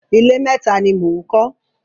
Ilé méta ni mò ń kọ́.